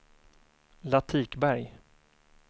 Latikberg